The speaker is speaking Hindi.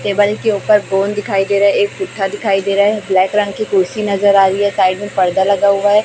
टेबल के ऊपर गोंद दिखाई दे रहा है एक पीठा दिखाई दे रहा है ब्लैक रंग की कुर्सी नजर आ रही है साइड में फाइबर लगा हुआ हैं।